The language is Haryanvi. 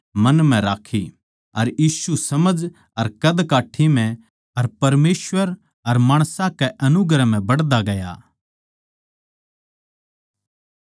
अर यीशु समझ अर कदकट्ठी म्ह अर परमेसवर अर माणसां कै अनुग्रह म्ह बढ़दा गया